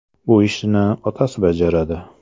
Bu ishni otasi bajaradi.